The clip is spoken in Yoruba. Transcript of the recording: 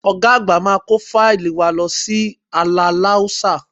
Ọ̀ga àgbà máa kó fáílì wa lọ sí Aláláúsá